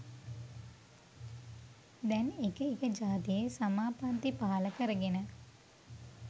දැන් එක එක ජාතියෙ සමාපත්ති පහළ කරගෙන